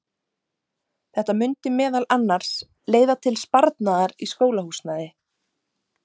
Þetta mundi meðal annars leiða til sparnaðar í skólahúsnæði.